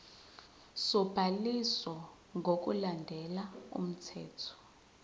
sobhaliso ngokulandela umthetho